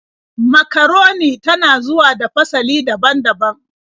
Makaroni ta na zuwa a fasali daban-daban.